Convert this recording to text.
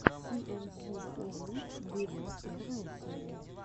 си эн си оу виво первая серия